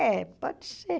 É, pode ser.